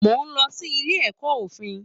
Mo lọ sí ilé ẹkọ òfin.